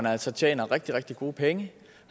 altså tjener rigtig rigtig gode penge